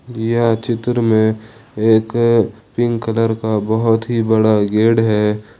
यह चित्र में एक पिंक कलर का बहुत ही बड़ा गेड है।